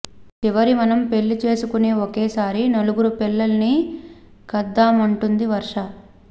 చివరి మనం పెళ్లి చేసుకునే ఒకేసారి నలుగురు పిల్లల్ని కద్దామంటుంది వర్ష